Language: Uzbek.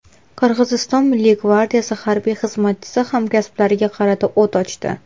Qirg‘iziston Milliy gvardiyasi harbiy xizmatchisi hamkasblariga qarata o‘t ochdi.